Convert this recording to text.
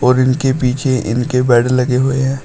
और इनके पीछे इनके बेड लगे हुए हैं।